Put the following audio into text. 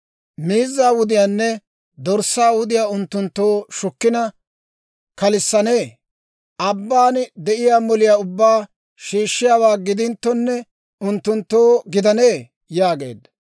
Miizzaa wudiyaanne dorssaa wudiyaa unttunttoo shukkina kalissanee? Abban de'iyaa moliyaa ubbaa shiishshiyaawaa gidinttonne, unttunttoo gidanee?» yaageedda.